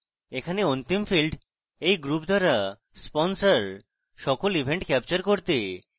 এখানে অন্তিম field এই group দ্বারা sponsored সকল events ক্যাপচার করতে